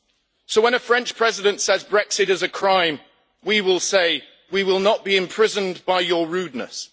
So when a French President says Brexit is a crime, we will say we will not be imprisoned by your rudeness.